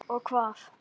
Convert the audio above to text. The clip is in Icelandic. Og hvað.